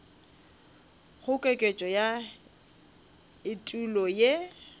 go koketšo ya etulo ye